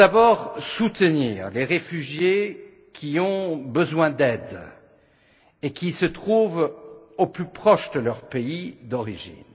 Il faut d'abord soutenir des réfugiés qui ont besoin d'aide et qui se trouvent près de leur pays d'origine.